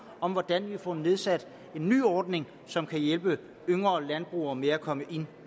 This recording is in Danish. om hvordan vi får igangsat en ny ordning som kan hjælpe yngre landbrugere med at komme ind